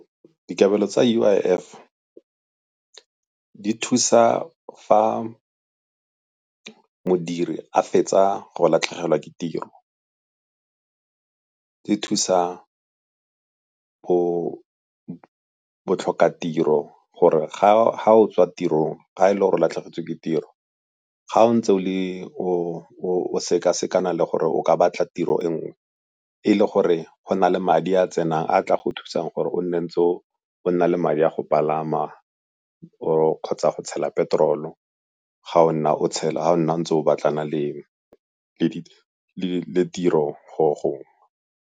Dikabelo tsa U_I_F di thusa fa modiri a fetsa gore latlhegelwa ke tiro, e thusa botlhokatiro gore ga o tswa tirong, ga e le gore o latlhegetswe ke tiro. Ga o ntse o sekasekana le gore o ka batla tiro e nngwe, e le gore go na le madi a tsenang a a tla go thusang gore o nne o ntse o na le madi a go palama or kgotsa go tshela peterolo ga o nna o tshela, ga o nna ntse o batlana le tiro go gongwe.